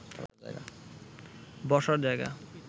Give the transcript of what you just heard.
বসার জায়গা